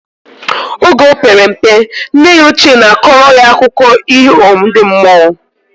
Oge opere mpe, nne ya oche na akora ya akụko iho ndi mmụọ